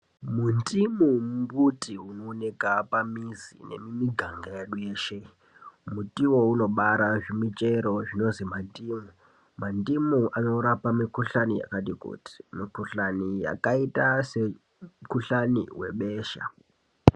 Mu ndimo mbuti uno oneka pa mizi ne mumi ganga yeshe muti uwowo unobara zvi michero zvinonzi ma ndimu mandimu ano rapa ki kuhlani yakati kuti mu kuhlani yakaita se mu kuhlani we besha.